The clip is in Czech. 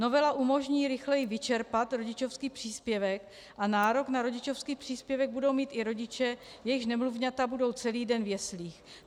Novela umožní rychleji vyčerpat rodičovský příspěvek a nárok na rodičovský příspěvek budou mít i rodiče, jejichž nemluvňata budou celý den v jeslích.